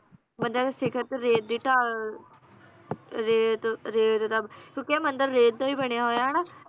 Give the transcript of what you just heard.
ਮੰਦਰਾਂ ਦੇ ਸ਼ਿਖਰ ਤੇ ਰੇਤ ਦੀ ਢਾਲ~ ਰੇਤ, ਰੇਤ ਦਾ ਕਿਉਂਕਿ ਇਹ ਮੰਦਿਰ ਰੇਤ ਦਾ ਵੀ ਬਣਿਆ ਹੋਇਆ ਹਨਾ